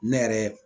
Ne yɛrɛ